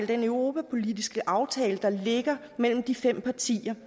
den europapolitiske aftale der ligger mellem de fem partier